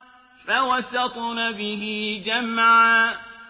فَوَسَطْنَ بِهِ جَمْعًا